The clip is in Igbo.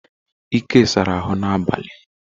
Ike sara ahụ na abalị.